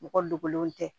Mɔgɔ dogolenw tɛ